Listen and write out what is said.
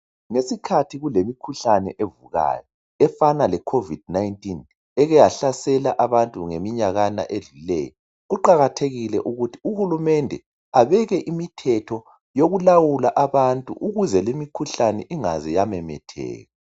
Ngesikhathi kulemikhuhlane evukayo efana le covid 19, eke yahlasela abantu ngeminyaka edluleyo, kuqakathekile ukuthi uhulumende abeke imithetho yokulawula abantu ukuze limikhuhlane ingaze yamemetheka.